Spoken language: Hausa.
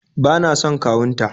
bana son kawun ta